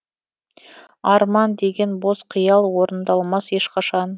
арман деген бос қиял орындалмас ешқашан